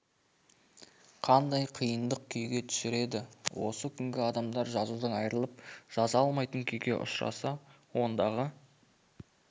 қандай қиындық күйге түсер еді осы күнгі адамдар жазудан айырылып жаза алмайтын күйге ұшыраса ондағы